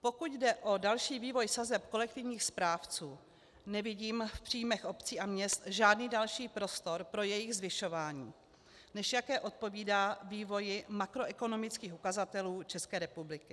Pokud jde o další vývoj sazeb kolektivních správců, nevidím v příjmech obcí a měst žádný další prostor pro jejich zvyšování, než jaké odpovídá vývoji makroekonomických ukazatelů České republiky.